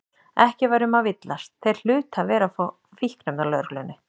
Ekki var um að villast, þeir hlutu að vera frá Fíkniefnalögreglunni.